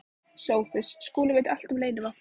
SOPHUS: Skúli veit allt um leynivopnið.